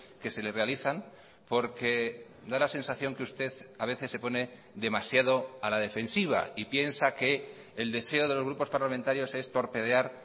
que se le realizan porque da la sensación que usted a veces se pone demasiado a la defensiva y piensa que el deseo de los grupos parlamentarios es torpedear